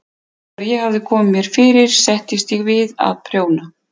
Þegar ég hafði komið mér fyrir settist ég við að prjóna.